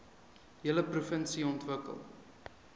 hele provinsie ontwikkel